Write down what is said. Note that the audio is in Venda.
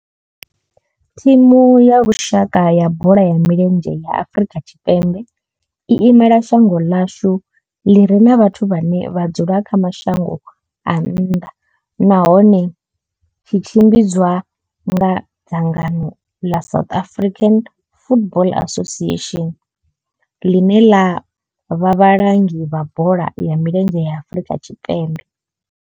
Thimu ya lushaka ya bola ya milenzhe ya Afrika Tshipembe i imela shango ḽa hashu ḽi re na vhathu vhane vha dzula kha mashango a nnḓa nahone tshi tshimbidzwa nga dzangano ḽa South African Football Association, ḽine ḽa vha vhalangi vha bola ya milenzhe ya Afrika Tshipembe.